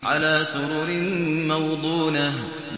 عَلَىٰ سُرُرٍ مَّوْضُونَةٍ